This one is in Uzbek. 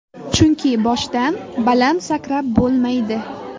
Chunki boshdan baland sakrab bo‘lmaydi.